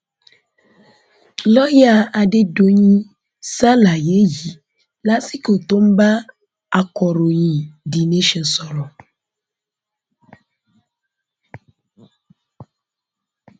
lọọyà adédọyìn ṣàlàyé yìí lásìkò tó ń bá akọròyìn the nation sọrọ